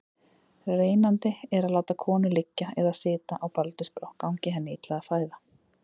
Reynandi er að láta konu liggja eða sitja á baldursbrá gangi henni illa að fæða.